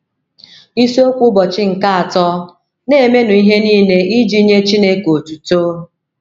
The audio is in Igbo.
Isiokwu Ụbọchị nke Atọ: “ Na - emenụ Ihe Nile Iji Nye Chineke Otuto ”